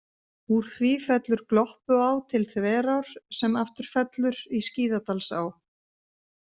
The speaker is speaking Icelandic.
Úr því fellur Gloppuá til Þverár sem aftur fellur í Skíðadalsá.